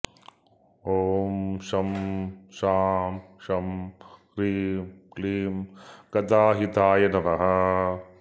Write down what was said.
ॐ शं शां षं ह्रीं क्लीं गताहिताय नमः